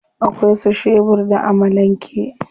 Akwai su shebur da amalan ke.